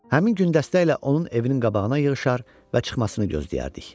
Həmin gün dəstə ilə onun evinin qabağına yığışar və çıxmasını gözləyərdik.